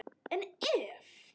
En ef?